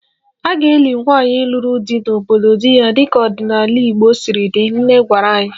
A ga-eli nwaanyị lụrụ di n'obodo di ya dịka ọdịnala Igbo siri dị, nne gwara anyị